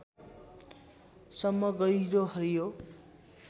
सम्म गहिरो हरियो